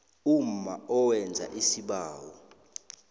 umma owenza isibawo